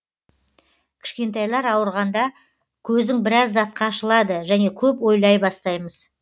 кішкентайлар ауырғанда көзің біраз затқа ашылады және көп ойлай бастаймыз